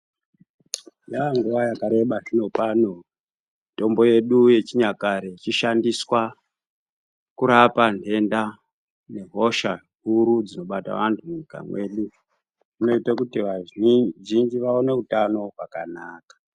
Yaanguwa yakareba zvinopano mitombo yedu yechinyakare yechishandiswa kurapa ntenta nehosha huru dzinobata vantu munyika mwedu zvinoita kuti vazhinji vaone utano hwakanaka.